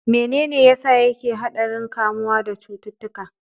Menene yasa yake a haɗarin kamuwa da cututtuka?